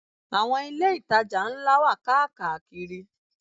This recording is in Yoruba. Àwọn ilé-ìtajà ńlá wà káàkàkiri.